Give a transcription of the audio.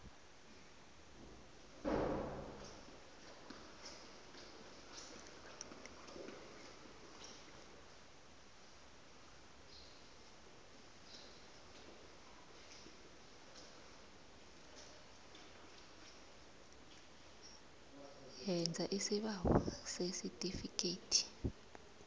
yenza isibawo sesitifikhethi